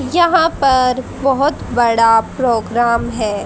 यहाँ पर बहोत बड़ा प्रोग्राम है।